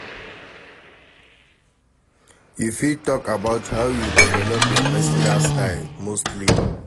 You fit talk about how you develop your pesinal style, mostly.